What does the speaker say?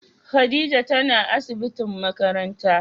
Khadijah tana asibitin makarantan.